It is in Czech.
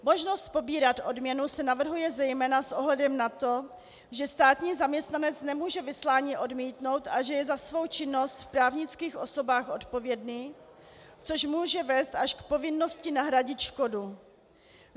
Možnost pobírat odměnu se navrhuje zejména s ohledem na to, že státní zaměstnanec nemůže vyslání odmítnout a že je za svou činnost v právnických osobách odpovědný, což může vést až k povinnosti nahradit škodu.